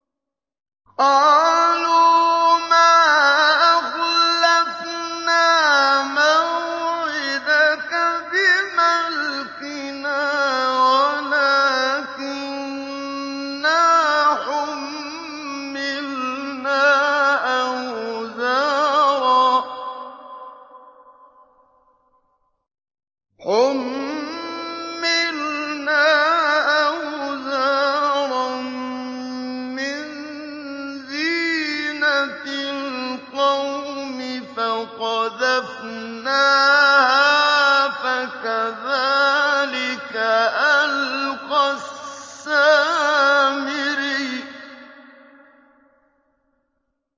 قَالُوا مَا أَخْلَفْنَا مَوْعِدَكَ بِمَلْكِنَا وَلَٰكِنَّا حُمِّلْنَا أَوْزَارًا مِّن زِينَةِ الْقَوْمِ فَقَذَفْنَاهَا فَكَذَٰلِكَ أَلْقَى السَّامِرِيُّ